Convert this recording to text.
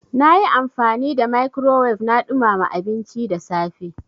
Na yi amfani da microwave na ɗumama abinci da safe.